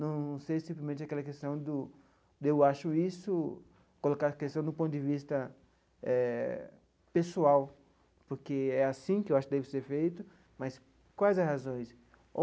Não ser, simplesmente, aquela questão do de eu acho isso, colocar a questão do ponto de vista eh pessoal, porque é assim que eu acho que deve ser feito, mas quais as razões?